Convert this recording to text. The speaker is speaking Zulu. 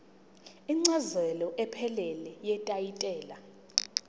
incazelo ephelele yetayitela